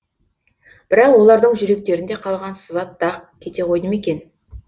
бірақ олардың жүректерінде қалған сызат дақ кете қойды ма екен